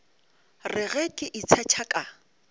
re ge ke itshetšha ka